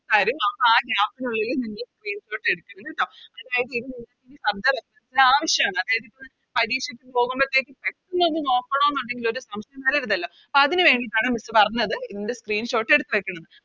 തരും അപ്പൊ ആ Gap നുള്ളില് നിങ്ങള് Screenshot എടുക്കണം കേട്ടോ ആവശ്യാണ് അതായത് ഇപ്പൊ പരീക്ഷക്ക് പോകുമ്പത്തേക്കും പെട്ടന്നൊന്ന് നോക്കണോന്ന് ഒണ്ടെങ്കിൽ ഒരു സംശയം വരരുതല്ലോ അപ്പൊ അതിന് വേണ്ടീട്ടാണ് Miss പറഞ്ഞത് ഇതിൻറെ Screenshot എടുത്ത് വെക്കണംന്ന്